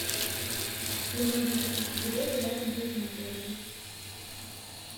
где можно купить билеты рядом с этим отелем